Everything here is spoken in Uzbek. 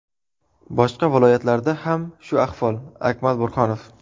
Boshqa viloyatlarda ham shu ahvol” Akmal Burhonov.